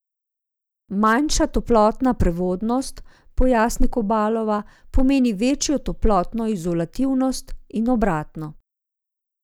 Manjša toplotna prevodnost, pojasni Kobalova, pomeni večjo toplotno izolativnost in obratno.